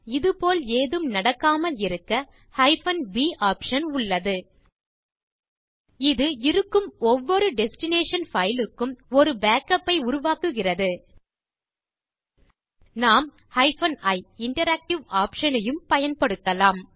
இது போல் ஏதும் நடக்காமல் தடுக்க b ஆப்ஷன் உள்ளது இது இருக்கும் ஒவ்வொரு டெஸ்டினேஷன் பைல் க்கும் ஒரு பேக்கப் ஐ உருவாக்குகிறது நாம் ioption யும் பயன்படுத்தலாம்